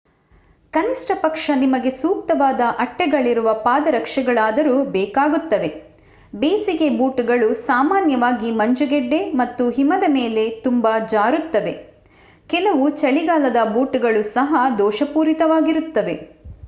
ಕನಿಷ್ಠಪಕ್ಷ ನಿಮಗೆ ಸೂಕ್ತವಾದ ಅಟ್ಟೆಗಳಿರುವ ಪಾದರಕ್ಷೆಗಳಾದರೂ ಬೇಕಾಗುತ್ತವೆ ಬೇಸಿಗೆ ಬೂಟುಗಳು ಸಾಮಾನ್ಯವಾಗಿ ಮಂಜುಗಡ್ಡೆ ಮತ್ತು ಹಿಮದ ಮೇಲೆ ತುಂಬಾ ಜಾರುತ್ತವೆ ಕೆಲವು ಚಳಿಗಾಲದ ಬೂಟುಗಳು ಸಹಾ ದೋಷಪೂರಿತವಾಗಿರುತ್ತವೆ